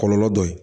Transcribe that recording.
Kɔlɔlɔ dɔ ye